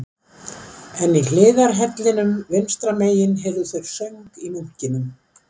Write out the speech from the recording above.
En í hliðarhellinum vinstra megin heyrðu þeir söng í munkinum